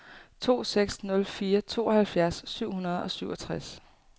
to seks nul fire tooghalvfjerds syv hundrede og syvogtres